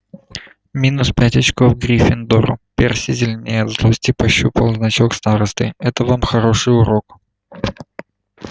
минус пять очков гриффиндору перси зеленея от злости пощупал значок старосты это вам хороший урок